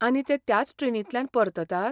आनी ते त्याच ट्रेनींतल्यान परततात?